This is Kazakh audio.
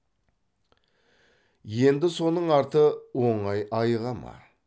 енді соның арты оңай айыға ма